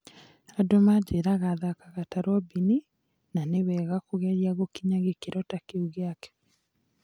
Andũ manjĩraga thakaga ta Robini, na nĩ wega kũgeria gũkinya gĩkĩro ta kĩu gĩake.